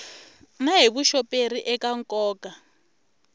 na hi vuxoperi eka nkoka